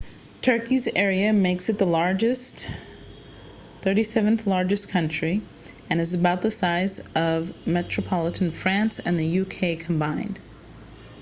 turkey's area makes it the world's 37th-largest country and is about the size of metropolitan france and the united kingdom combined